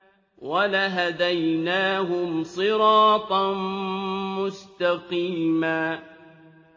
وَلَهَدَيْنَاهُمْ صِرَاطًا مُّسْتَقِيمًا